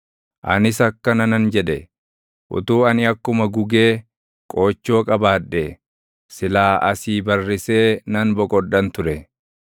Anis akkana nan jedhe; // “Utuu ani akkuma gugee qoochoo qabaadhee! Silaa asii barrisee nan boqodhan ture.